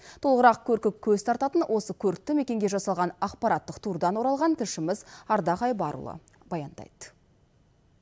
толығырақ көркі көз тартатын осы көрікті мекенге жасалған ақпараттық турдан оралған тілшіміз ардақ айбарұлы баяндайды